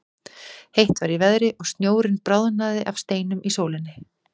Heitt var í veðri og snjórinn bráðnaði af steinum í sólinni.